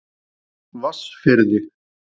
Vatnsfirði